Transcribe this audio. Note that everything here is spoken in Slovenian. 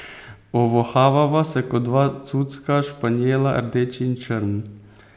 Ovohavava se kot dva cucka španjela, rdeč in črn.